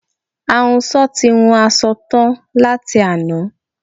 Ahunsọ ti hun asọ tán láti àná